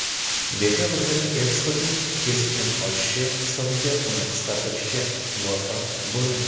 Dekabrda eksportning keskin oshishi hisobiga uni qisqartirishga muvaffaq bo‘lindi.